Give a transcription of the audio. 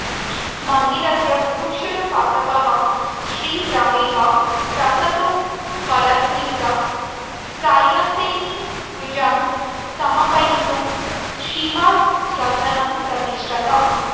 मन्दिरस्य बुभुक्षुरुपासकः शीघ्रमेव प्रसादोपलब्धये सायन्तनीं पूजां समापयितुं शिवायतनं प्रातिष्ठत